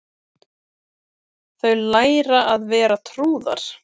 Þau læra að vera trúðar